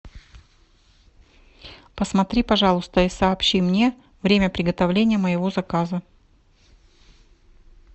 посмотри пожалуйста и сообщи мне время приготовления моего заказа